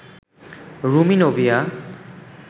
Rumi Nubia